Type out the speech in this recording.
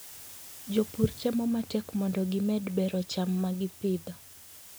Jopur temo matek mondo gimed bero cham ma gipidho.